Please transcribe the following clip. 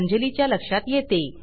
अंजली च्या लक्षात येते